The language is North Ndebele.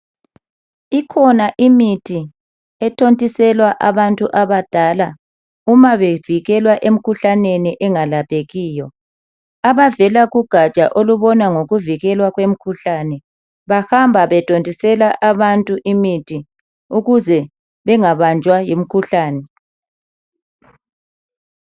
Ikhona imithi ethontiselwa abantu abadala uma bevikelwa emikhuhlaneni engalaphekiyo. Abavela kugatsha olubona ngokuvikela kwemikhuhlane bahamba bethontisela abantu imithi ukuze bengabanjwa yimikhuhlane.